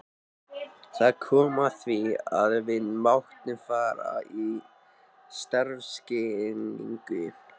Það kom að því að við máttum fara í starfskynningu.